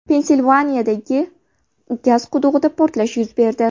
Pensilvaniyadagi gaz qudug‘ida portlash yuz berdi.